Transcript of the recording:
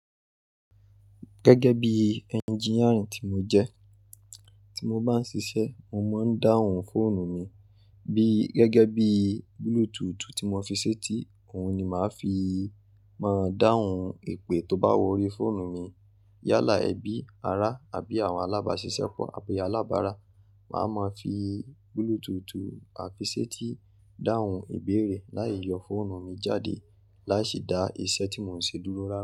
Gẹ́gẹ́ bí engineering tí mo jẹ́, tí mo bá ń ṣiṣẹ́, mo máa ń dáhùn fóònù mi bí, gẹ́gẹ́ bí Bluetooth tí mo fi ṣetí, òun ni màá fi máa dáhùn èpè tó bá wọrí fóònù mi. Yálà ẹbí, ará àbí àwọn alábáṣiṣẹ́pọ̀ àbí alábàárà, màá máa fi Bluetooth àfi ṣetí dáhùn ìbéèrè láì yọ fóònù mi jáde láìsí dá iṣẹ́ tí mò ń ṣe dúró rá.